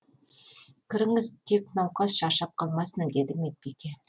кіріңіз тек науқас шаршап қалмасын деді медбике